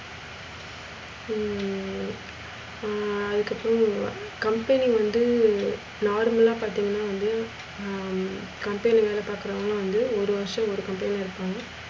ஹம் ஆஹ் அதுக்கு அப்புறம் company வந்து normal லா பாத்திங்கனா வந்து, ஹம் company ல வேலை பாக்குறவங்க வந்து ஒரு வருஷம் ஒரு company ல இருப்பாங்க.